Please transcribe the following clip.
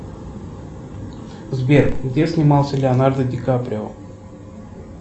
сбер где снимался леонардо ди каприо